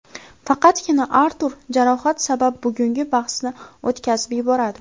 Faqatgina Artur jarohat sabab bugungi bahsni o‘tkazib yuboradi.